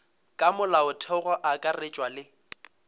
ka molaotheong go akaretšwa le